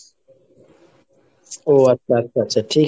ও আচ্ছা আচ্ছা আচ্ছা, ঠিকাছে।